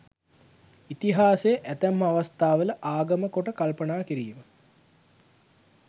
ඉතිහාසය ඇතැම් අවස්ථාවල ආගම කොට කල්පනා කිරීම